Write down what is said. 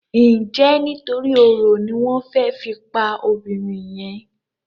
Njé nítorí oro ní wón fè fí pá obìrin yen?